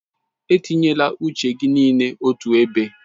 Etinyela uche gị niile otu ebe.